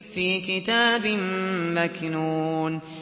فِي كِتَابٍ مَّكْنُونٍ